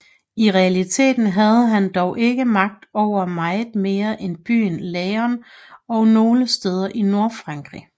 I realiteten havde han dog ikke magt over meget mere end byen Laon og nogle steder i Nordfrankrig